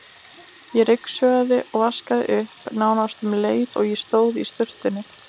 Ég ryksugaði og vaskaði upp nánast um leið og ég stóð í sturtunni.